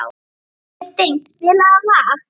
Kiddi, spilaðu lag.